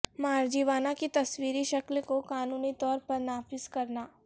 marijuana کی تصویری شکل کو قانونی طور پر نافذ کرنا